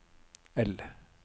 L